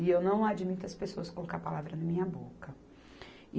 E eu não admito as pessoas colocarem palavras na minha boca.